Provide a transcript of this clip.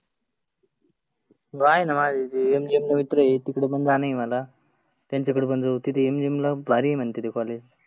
हो आहे ना माझे MGM ला मित्र आहे तीकड पण जानं आहे मला. त्यांच्याकडे पण जाऊ तीथे MGM ला खुप भारी आहे म्हणते ते कॉलेज